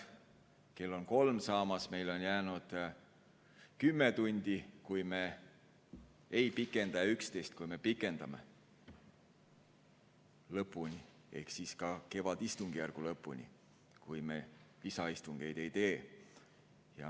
Kell on kolm saamas ja meil on jäänud 10 tundi, kui me aega ei pikenda, ja 11 tundi, kui me pikendame, lõpuni ehk kevadistungjärgu lõpuni, kui me lisaistungeid ei tee.